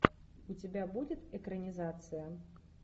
у тебя будет экранизация